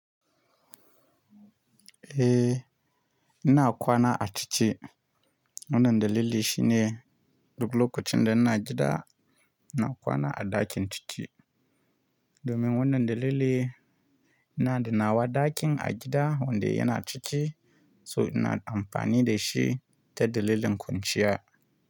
Eh, ina kwana a ciki. Wannan dalili shi ne duk lokacin da ina gida, ina kwana a ɗakin ciki. Domin wannan dalili, ina da nawa ɗakin a gida wanda yana ciki, so ina amfani da shi ta dalilin kwanciya.